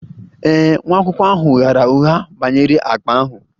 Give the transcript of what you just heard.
Ee e, nwa akwụkwọ ahụ ghaara ụgha banyere akpa ahụ